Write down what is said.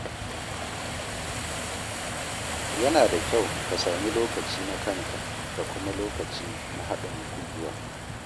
Yana da kyau ka sami lokaci na kanka da kuma lokaci na haɗin gwiwa.